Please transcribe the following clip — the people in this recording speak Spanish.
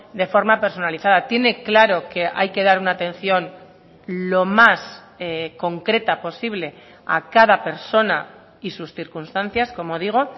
de forma personalizada tiene claro que hay que dar una atención lo más concreta posible a cada persona y sus circunstancias como digo